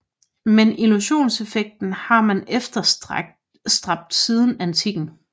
Men illusionseffekten har man efterstræbt siden antikken